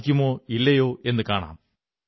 സാധിക്കുന്നോ ഇല്ലയോ എന്നു കാണാം